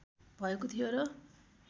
भएको थियो र